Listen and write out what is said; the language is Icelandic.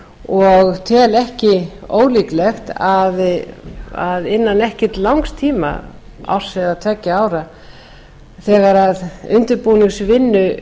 og tel ekki ólíklegt að innan ekki langs tíma árs eða tveggja ára þegar undirbúningsvinnunni